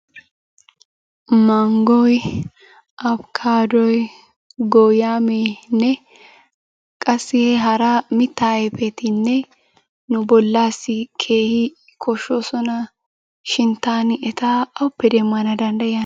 Manggoy, abbkkaaddoy, gooyaameenne qassi hara mittaa ayfetinne nu bollaassi keehi koshshoosona. Shin taani eta awuppe demmana danddayiyaana?